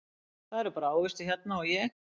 Það eru bara ávextir hérna og ég